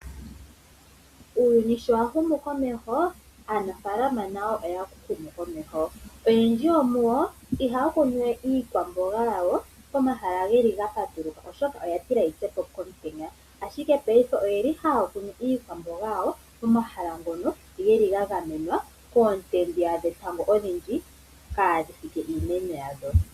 Uuyuni shi wa humu komeho, aanafalama nayo oya humu komeho, oyendji yo muyo ihaakunuwe iikwambonga yawo pomahala gapatuluka oshoka oyatila iikwambonga yitsepo komutenya. Payife ohaakunu iikwambonga yawo mo mahala ngoka geli gagamenwa koonte dhetango odhindji kaadhifike iimeno yawo.